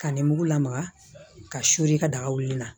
Ka nin mugu lamaga ka suli ka daga wili la